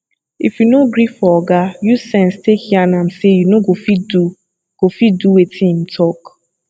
if you no gree for oga use sense take yarn am sey you no go fit do go fit do wetin im talk